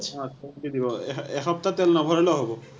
অ seventy দিব। এশ, এসপ্তাহ তেল নভৰালেও হ’ব।